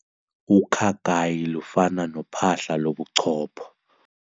Ukhakayi lufana nophahla lobuchopho.